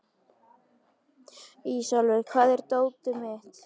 Ísólfur, hvar er dótið mitt?